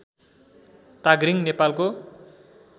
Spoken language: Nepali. ताघ्रिङ नेपालको